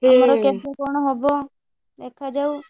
ହୁଁ ଆମର କେମିତି କଣ ହବ? ଦେଖାଯାଉ।